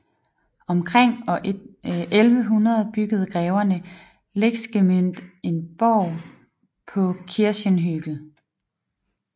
Omkring år 1100 byggede greverne Lechsgemünd en borg på Kirchenhügel